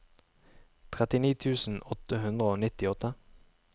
trettini tusen åtte hundre og nittiåtte